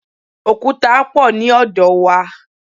Òkúta pọ̀ ní ọ̀dọ̀ wa.